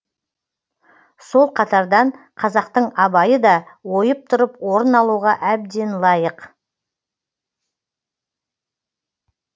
сол қатардан қазақтың абайы да ойып тұрып орын алуға әбден лайық